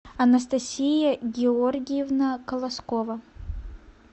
анастасия георгиевна колоскова